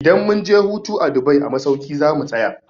Idan mun je hutu a Dubai a masauki za mu tsaya.